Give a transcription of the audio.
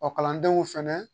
Ɔ kalandenw fɛnɛ